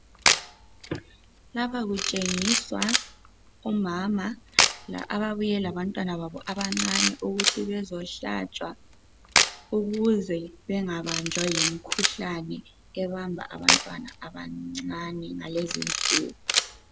Lapha kutshengiswa omama ababuye labantwababo abancane ukuthi bezohlatsgwa ukuze bangabanjwa yimikhuhlane ebamba abantwana abancane ngalezi insuku.